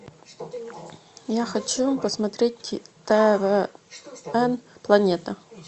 я хочу посмотреть твн планета